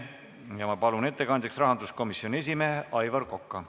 Ja ma palun ettekandjaks rahanduskomisjoni esimehe Aivar Koka.